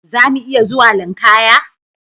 Zamu iya zuwa linkaya?